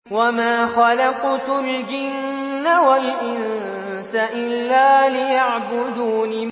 وَمَا خَلَقْتُ الْجِنَّ وَالْإِنسَ إِلَّا لِيَعْبُدُونِ